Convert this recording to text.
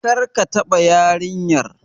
Kar ka taɓa yarinyar!